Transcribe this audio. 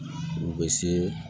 U bɛ se